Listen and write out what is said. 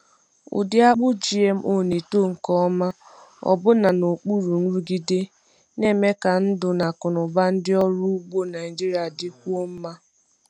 Ụdị akpụ GMO na-eto nke ọma na-eto nke ọma ọbụna n’okpuru nrụgide, na-eme ka ndụ na akụnụba ndị ọrụ ugbo Naijiria dịkwuo mma.